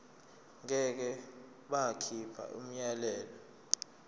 ngeke bakhipha umyalelo